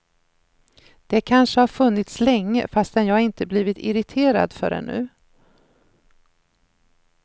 Det kanske har funnits länge fastän jag inte blivit irriterad förrän nu.